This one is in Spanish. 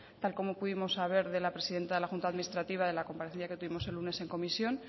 tal como pudimos saber de la presidenta de la junta administrativa de la comparecencia que tuvimos el lunes en comisión